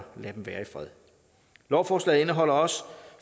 lade dem være i fred lovforslaget indeholder også